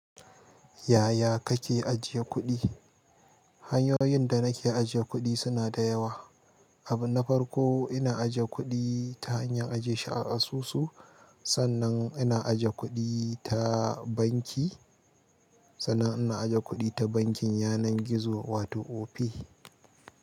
Yaya kake ajiye kuɗi? Hanyoyin da nake ajiye kuɗi suna da yawa. Abu na farko ina ajiye kuɗi ta hanyar ajiye shi a asusu. Sannan ina ajiye kuɗi ta banki, sannan ina aje kuɗi ta bankin yanar gizo wato Opay.